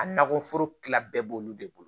A nakɔforo kilan bɛɛ b'olu de bolo